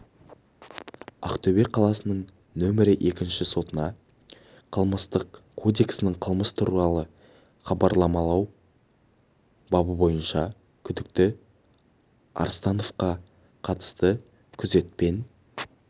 ақтөбе қаласының нөмірі екінші сотына қылмыстық кодексінің қылмыс туралы хабарламау бабы бойынша күдікті арыстановқа қатысты күзетпен